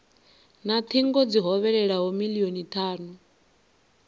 na thingo dzi hovhelelaho milioni thanu